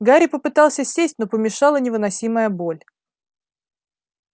гарри попытался сесть но помешала невыносимая боль